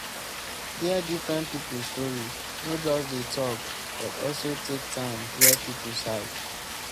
hear different pipo story no just dey talk but also take time hear pipo side